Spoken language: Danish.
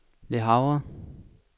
Le Havre